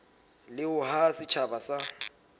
le ho haha setjhaba sa